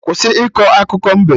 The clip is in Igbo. Kwụsị iko akụkọ mbe!